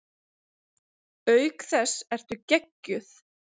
Auk þess ertu geggjuð!